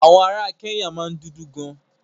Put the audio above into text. Àwọn ará Kẹ́nyà máa ń dúdú gan.